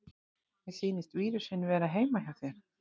Mér sýnist vírusinn vera heima hjá þér.